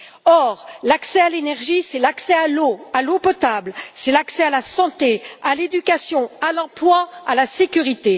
Or, l'accès à l'énergie, c'est l'accès à l'eau, à l'eau potable, c'est l'accès à la santé, à l'éducation, à l'emploi, à la sécurité.